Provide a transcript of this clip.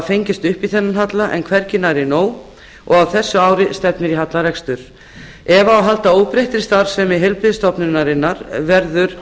fengist upp í þennan halla en hvergi nærri nóg og á þessu ári stefnir í hallarekstur ef það á að halda óbreyttri starfsemi heilbrigðisstofnunarinnar verður